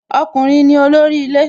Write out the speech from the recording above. Ọkùnrin ni olórí ilé